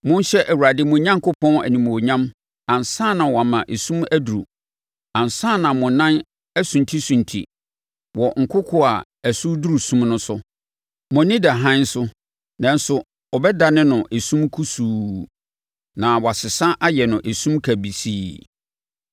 Monhyɛ Awurade mo Onyankopɔn, animuonyam ansa na wama esum aduru, ansa na mo nan asuntisunti wɔ nkokoɔ a ɛso reduru sum no so. Mo ani da hann so, nanso ɔbɛdane no esum kusuu na wɔasesa ayɛ no esum kabisii.